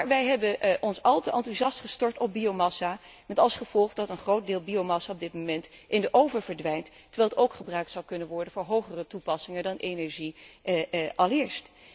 Maar wij hebben ons al te enthousiast gestort op biomassa, met als gevolg dat een groot deel biomassa op dit moment in de oven verdwijnt, terwijl het ook gebruikt zou kunnen worden voor hogere toepassingen dan energie alleen.